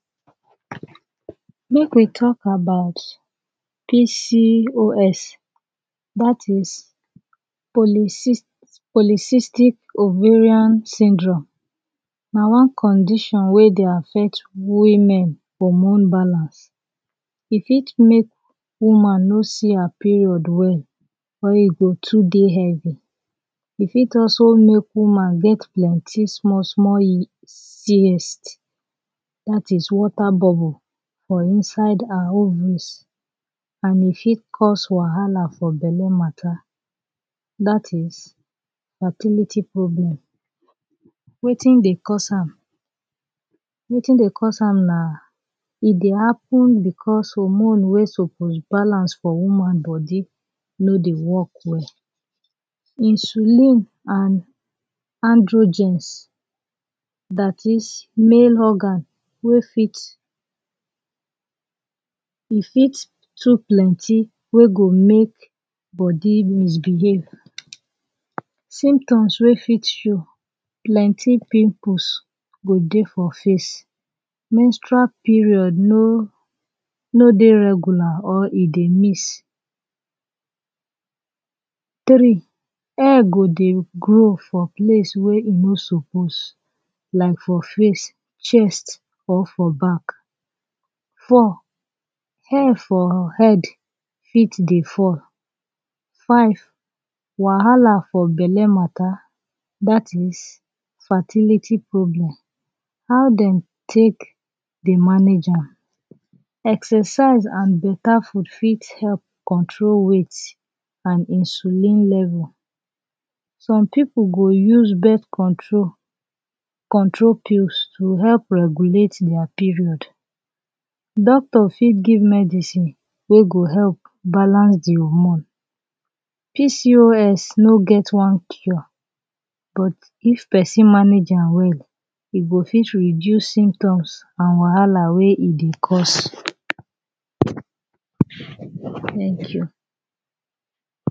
Make we talk about PCOS, that is, Polycys, Polycystic Ovarian Syndrome, na one condition wey dey affect women hormone balance.. E fit make woman no see her period well or e go too dey heavy, e fit also make woman get plenty small small cysts, that is, water bubble for inside her ovaries and e fit cause wahala for belle matter, that is, fertility problem. Wetin dey cause am? Wetin dey cause na e dey happen becos hormone wey suppose balance for woman body no dey work well. Insulin and androgens, that is, main organ wey fit, e fit too plenty wey go make body misbehave. Symptoms wey fit show; plenty pimples go dey for face, menstrual period no, no dey regular or e dey miss. Tri, hair go dey grow for place wey e no suppose like for face, chest or for back. Four, hair for head fit dey fall. Five, wahala for belle matter, that is, fertility problem. How dem take dey manage am? Exercise and beta food fit help control weight and insulin level. Some pipul go use birth control, control pills, to help regulate their period. Doctor fit give medicine wey go help balance de hormone. PCOS no get one cure but if pesin manage am well, e go fit reduce symptoms and wahala wey e dey cause Tank you1